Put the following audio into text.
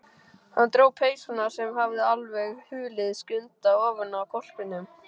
Hann dró peysuna, sem hafði alveg hulið Skunda, ofanaf hvolpinum.